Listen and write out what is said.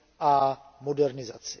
a modernizaci.